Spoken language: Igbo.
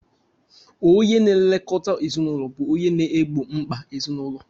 Onye na-elekọta ezinụlọ bụ onye na-egbo mkpa ezinụlọ